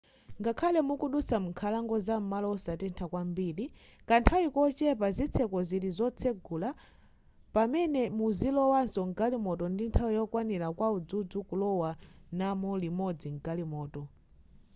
ngakhale mukudutsa m'nkhalango zam'malo osatentha kwambiri kanthawi kochepa zitseko zili zotsegula pamene muzilowaso mgalimoto ndi nthawi yokwanira kwa udzudzu kulowa namu limodzi mgalimoto